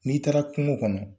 N'i taara kungo kɔnɔ